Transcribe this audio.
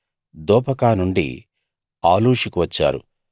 దోపకా నుండి ఆలూషుకు వచ్చారు